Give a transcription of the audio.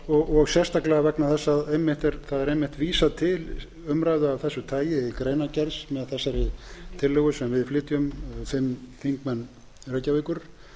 annað og sérstaklega vegna þess að það er einmitt vísað til umræðu af þessu tagi í greinargerð með þessari tillögu sem við flytjum fimm þingmenn reykjavíkur allt